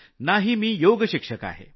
ना ही मी योगशिक्षक आहे